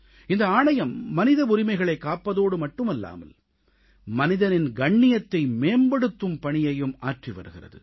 இந்த ஆணையம் மனித உரிமைகளைக் காப்பதோடு மட்டுமல்லாமல் மனிதனின் கண்ணியத்தை மேம்படுத்தும் பணியையும் ஆற்றி வருகிறது